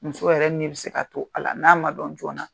Muso yɛrɛ ni bɛ se ka to a la n'a man dɔn joona.